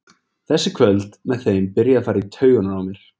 Þessi kvöld með þeim byrja að fara í taugarnar á mér.